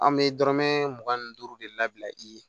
An bɛ dɔrɔmɛ mugan ni duuru de labila i ye